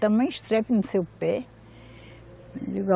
Tamanho estrepe no seu pé.